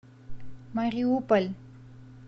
мариуполь